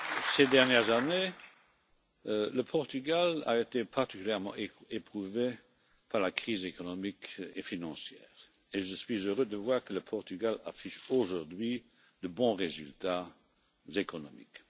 Ces dernières années, le Portugal a été particulièrement éprouvé par la crise économique et financière et je suis heureux de voir que le Portugal affiche aujourd'hui de bons résultats économiques.